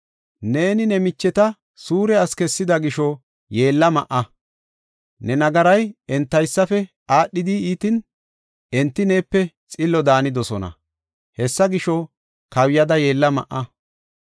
Neeni ne micheta suure asi kessida gisho yeella ma7a. Ne nagaray entaysafe aadhidi iitin, enti neepe xillo daanidosona. Hessa gisho, kawuyada yeella ma7a.